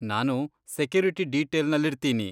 ನಾನು ಸೆಕ್ಯುರಿಟಿ ಡೀಟೇಲ್ನಲ್ಲಿರ್ತೀನಿ.